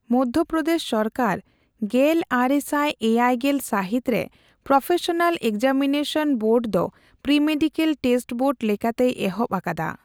ᱢᱚᱫᱽᱫᱷᱭᱚ ᱯᱨᱚᱫᱮᱥ ᱥᱚᱨᱠᱟᱨ ᱜᱮᱞ ᱟᱨᱮ ᱥᱟᱭ ᱮᱭᱟᱭ ᱜᱮᱞ ᱥᱟᱹᱦᱤᱛᱨᱮ ᱯᱨᱚᱯᱷᱮᱥᱚᱱᱟᱞ ᱮᱠᱡᱟᱢᱤᱱᱮᱥᱚᱱ ᱵᱳᱨᱰ ᱫᱚ ᱯᱨᱤᱼᱢᱮᱰᱤᱠᱚᱞ ᱴᱮᱥᱴ ᱵᱳᱨᱰ ᱞᱮᱠᱟᱛᱮᱭ ᱮᱦᱚᱵᱽ ᱟᱠᱟᱫᱟ ᱾